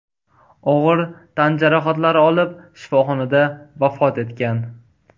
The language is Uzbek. og‘ir tan jarohatlari olib, shifoxonada vafot etgan.